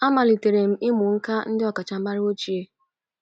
Amalitere m ịmụ nkà ndị ọkacha maara ochie.